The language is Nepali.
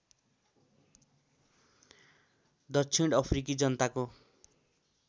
दक्षिण अफ्रिकी जनताको